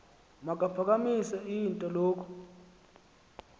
makaphakamise int loko